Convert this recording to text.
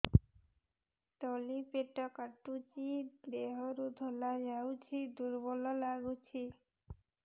ତଳି ପେଟ କାଟୁଚି ଦେହରୁ ଧଳା ଯାଉଛି ଦୁର୍ବଳ ଲାଗୁଛି